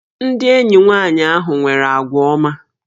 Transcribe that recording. Ndị enyi nwanyị ahụ nwere àgwà ọma